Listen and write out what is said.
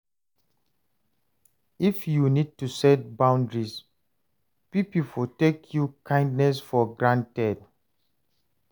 If yu no set boundaries, pipo for take yur kindness for granted.